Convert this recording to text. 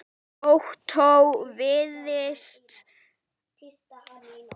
Ottó vafðist aldrei í ljóma.